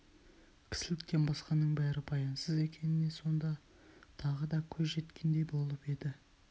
кісіліктен басқаның бәрі баянсыз екеніне сонда тағы да көз жеткендей болып еді